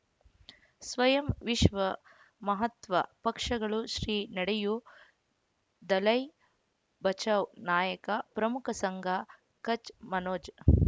ಸ್ವಯಂ ವಿಶ್ವ ಮಹಾತ್ವ ಪಕ್ಷಗಳು ಶ್ರೀ ನಡೆಯೂ ದಲೈ ಬಚೌ ನಾಯಕ ಪ್ರಮುಖ ಸಂಘ ಕಚ್ ಮನೋಜ್